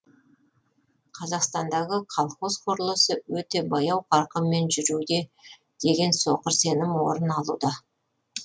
қазақстандағы колхоз құрылысы өте баяу қарқынмен жүруде деген соқыр сенім орын алуда